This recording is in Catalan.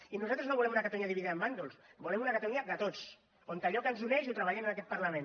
i nosaltres no volem una catalunya dividida en bàndols volem una catalunya de tots en la qual allò que ens uneix ho treballem en aquest parlament